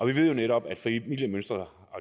vi ved netop at familiemønstrene